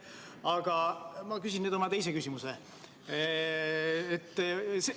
Aga ma küsin nüüd oma teise küsimuse.